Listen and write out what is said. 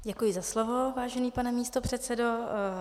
Děkuji za slovo, vážený pane místopředsedo.